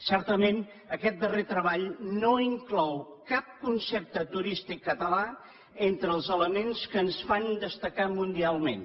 certament aquest darrer treball no inclou cap concepte turístic català entre els elements que ens fan destacar mundialment